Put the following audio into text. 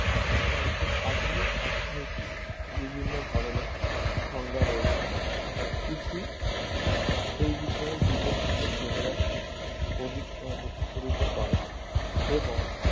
আহ আধুনিক অর্থনীতি বিভিন্ন ধরণের সংজ্ঞা রয়েছে কিছু এই বিষয়ের বিবর্তীত চেহেরা পড়ি প্রতিফলিত করে এবং